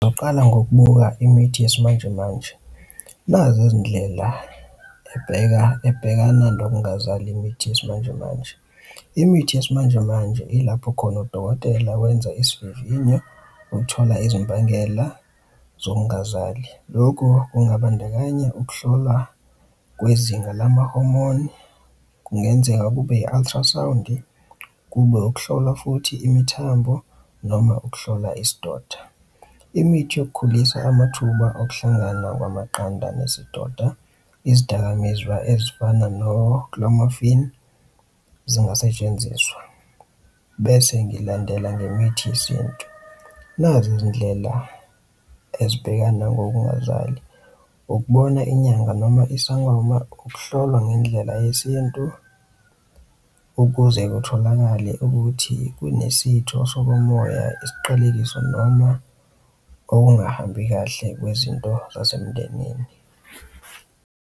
Ngizoqala ngokubuka imithi yesimanjemanje nazi izindlela ebheka, ebhekana nokungazali imithi yesimanjemanje. Imithi yesimanjemanje ilapho khona udokotela wenza isivivinyo ukuthola izimbangela zokungazali. Loku kungabandakanya ukuhlolwa kwezinga lama-hormone kungenzeka kube i-ultrasound-i, kube ukuhlolwa futhi imithambo noma ukuhlola isidoda. Imithi yokukhulisa amathuba okuhlangana kwamaqanda nesidoda, izidakamizwa ezifana no-clomiphene zingasetshenziswa, bese ngilandela ngemithi yesintu. Nazi izindlela ezibhekana ngokungazali. Ukubona inyanga noma isangoma ukuhlolwa ngendlela yesintu ukuze kutholakale ukuthi kunesitho sokomoya, isiqalekiso noma okungahambi kahle kwezinto nasemndenini.